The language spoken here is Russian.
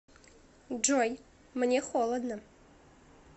джой мне холодно